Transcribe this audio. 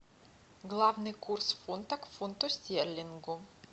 главный курс фунта к фунту стерлингу